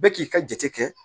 Bɛɛ k'i ka jate kɛ